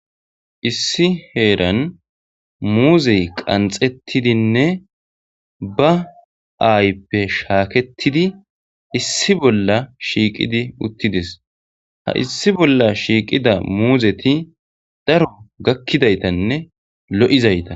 Issi heeran muuzey qanxettidinne ba aayppe shaaketidi issi bolla shiiqidi uttides ha issi bolla shiiqida muuzeti daro gakkidaytanne lo7izayta.